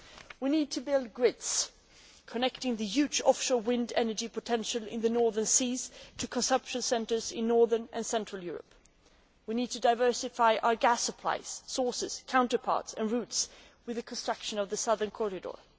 We need to build grids connecting the huge offshore wind energy potential in the northern seas to consumption centres in northern and central Europe. We need to diversify our gas supplies, sources, counterparts and routes with the construction of the southern corridor.